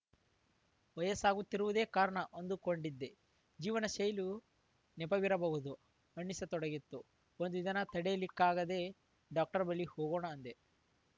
ವಯಸ್ಸಾಗುತ್ತಿರುವುದೇ ಕಾರಣ ಅಂದುಕೊಂಡಿದ್ದೆ ಜೀವನಶೈಲಿಯೂ ನೆಪವಿರಬಹುದು ಅನ್ನಿಸತೊಡಗಿತ್ತು ಒಂದು ದಿನ ತಡೆಯಲಿಕ್ಕಾಗದೇ ಡಾಕ್ಟರ್ ಬಳಿ ಹೋಗೋಣ ಅಂದೆ